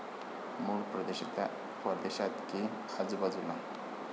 मूळ परदेशात की आजूबाजूला?